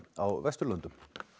á Vesturlöndum